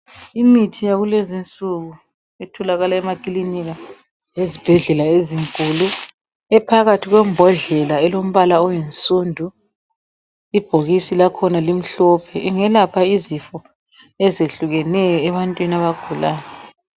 Imithi yakulezi nsuku etholakala emakilinika lasezibhedlela ezinkulu ephakathi kwembodlela elombala oyinsundu ibhokisi lakhona limhlophe ingelapha izifo ezehlukeneyo ebantwini abagulayo.